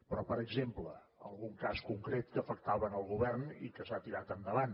però per exemple algun cas concret que afectava el govern i que s’ha tirat endavant